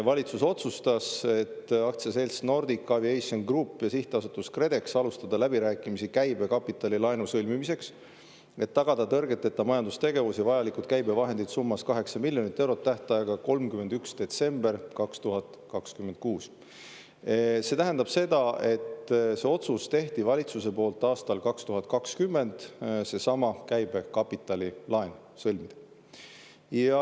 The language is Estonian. Valitsus otsustas, et "Aktsiaseltsil Nordic Aviation Group ja Sihtasutusel KredEx alustada läbirääkimisi käibekapitalilaenu lepingu sõlmimiseks, et tagada tõrgeteta majandustegevus ja vajalikud käibevahendid summas 8 000 000 eurot tähtajaga 31. detsember 2026. a." See tähendab seda, et otsus seesama käibekapitalilaen sõlmida tehti valitsuse poolt aastal 2020.